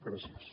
gràcies